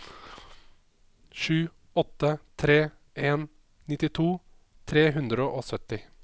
sju åtte tre en nittito tre hundre og sytti